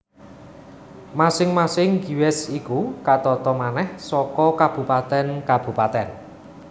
Masing masing gewest iku katata manèh saka kabupatèn kabupatèn